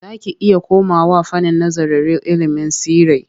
Za ki iya komawa fannin nazararil ilimin tsirrai.